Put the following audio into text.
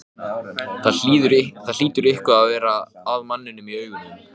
En sérkennilegt má það teljast að